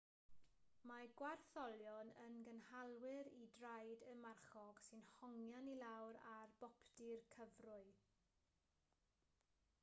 mae gwartholion yn gynhalwyr i draed y marchog sy'n hongian i lawr ar boptu'r cyfrwy